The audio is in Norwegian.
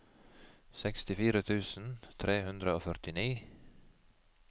sekstifire tusen tre hundre og førtini